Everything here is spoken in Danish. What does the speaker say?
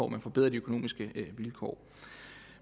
man forbedrer de økonomiske vilkår